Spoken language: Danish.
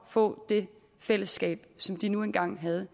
få det fællesskab som de nu engang havde